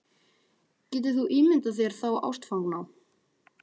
Getur þú ímyndað þér þá ástfangna?